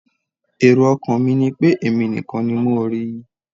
Èrò ọkàn mi ni pé èmi nìkan ni mo rí i.